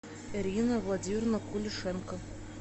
ирина владимировна кулишенко